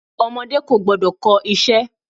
Ọmọdé kò gbọ́dọ̀ kọ iṣẹ́.